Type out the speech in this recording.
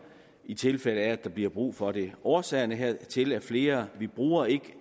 i tilfælde af at der bliver brug for den årsagerne hertil er flere vi bruger ikke